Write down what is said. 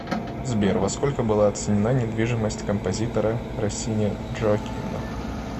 сбер во сколько была оценена недвижимость композитора россини джоаккино